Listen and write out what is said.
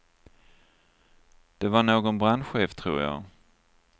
Det var någon brandchef, tror jag.